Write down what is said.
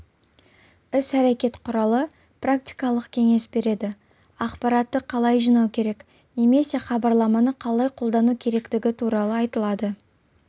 іс-әрекет құралы практикалық кеңес береді ақпаратты қалай жинау керек немесе хабарламаны қалай қолдану керектігі туралы айтады